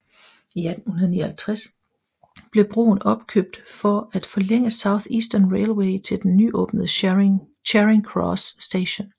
I 1859 blev broen opkøbt for at forlænge South Eastern Railway til den nyåbnede Charing Cross station